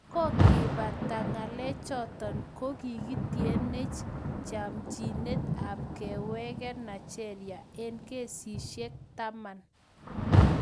Kokepataa ngalechotok ko kikietenech chamchineet ap kewekee Naigeria eng keshisiek taman